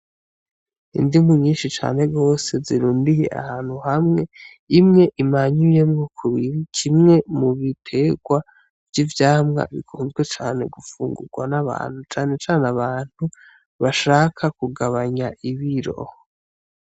Indimu nyinshi cane gwose zirundiye ahantu hamwe; imwe imanyuyemwo kubiri kimwe mubitegwa vy'ivyamwa bikunzwe cane gufungugwa n'abantu cane cane abantu bashaka kugabanya ibiro.